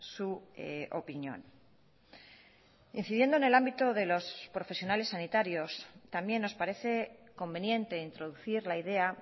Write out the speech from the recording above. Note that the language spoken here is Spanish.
su opinión incidiendo en el ámbito de los profesionales sanitarios también nos parece conveniente introducir la idea